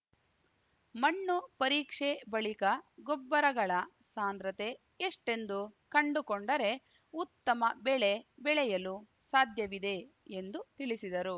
ಮಣ್ಣು ಪರೀಕ್ಷೆ ಬಳಿಕ ಗೊಬ್ಬರಗಳ ಸಾಂದ್ರತೆ ಎಷ್ಟೆಂದು ಕಂಡುಕೊಂಡರೆ ಉತ್ತಮ ಬೆಳೆ ಬೆಳೆಯಲು ಸಾಧ್ಯವಿದೆ ಎಂದು ತಿಳಿಸಿದರು